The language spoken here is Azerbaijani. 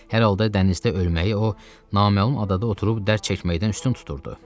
Hər halda dənizdə ölməyi o, naməlum adada oturub dərd çəkməkdən üstün tuturdu.